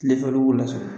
Ne faw b'u lasɔrɔ